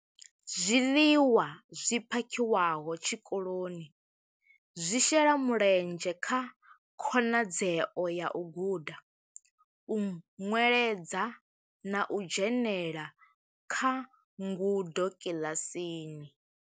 Zwiḽiwa zwi phakhiwaho tshikoloni zwi shela mulenzhe kha khonadzeo ya u guda, u nweledza na u dzhenela kha ngudo kiḽasini.